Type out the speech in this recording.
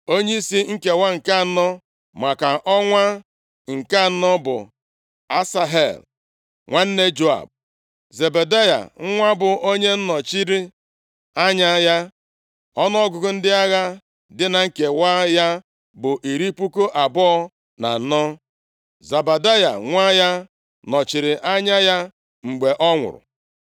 Onyeisi nkewa nke anọ, maka ọnwa nke anọ bụ Asahel, nwanne Joab. Zebadaya nwa bụ onye nnọchiri anya ya. Ọnụọgụgụ ndị agha dị na nkewa ya bụ iri puku abụọ na anọ (24,000). Zebadaya nwa ya, nọchiri anya ya mgbe ọ nwụrụ.